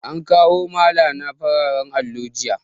An kawo malana fararen allo jiya